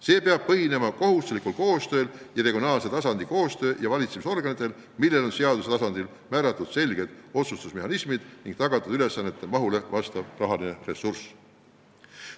See peab põhinema kohustuslikul koostööl, regionaalse tasandi koostööl ja valitsemisorganitel, millel on seaduse tasandil määratud selged otsustusmehhanismid ning tagatud ülesannete mahule vastav rahaline ressurss.